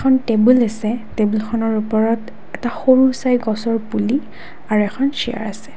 এখন টেবুল আছে টেবুলখনৰ ওপৰৰ এটা সৰুচাই গছৰ পুলি আৰু এখন চেয়াৰ আছে।